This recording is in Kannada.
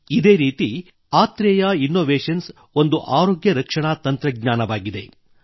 ಇದೇ ರೀತಿ ಆತ್ರೇಯ ಇನ್ನೊವೇಶನ್ಸ್ ಒಂದು ಆರೋಗ್ಯ ರಕ್ಷಣಾ ತಂತ್ರಜ್ಞಾನವಾಗಿದೆ